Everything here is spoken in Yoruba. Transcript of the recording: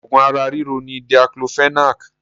Òògùn ara ríro ni Diclofenac